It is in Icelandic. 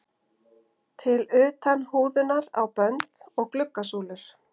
til utan húðunar á bönd og glugga súlur.